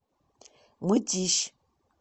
мытищ